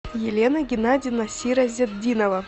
елена геннадьевна сиразетдинова